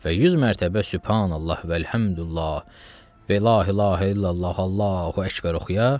Və 100 mərtəbə Sübhanallah Vəlhəmdulillah Və la ilahə illallah Allahu Əkbər oxuya.